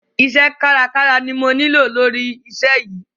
Iṣẹ́ kárakára ni mo nílò lóri iṣẹ́ yìí.